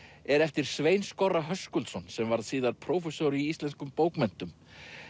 er eftir Svein Höskuldsson sem varð síðar prófessor í íslenskum bókmenntum